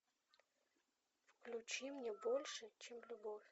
включи мне больше чем любовь